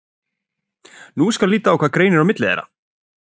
Nú skal líta á hvað greinir á milli þeirra.